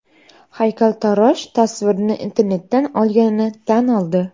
Haykaltarosh tasvirni internetdan olganini tan oldi.